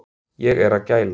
Ég er að gæla